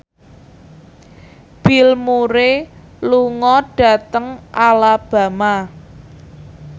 Bill Murray lunga dhateng Alabama